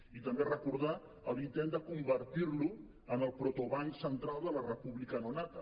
i també recordar l’intent de convertir lo en el protobanc central de la república no nata